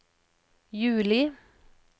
juli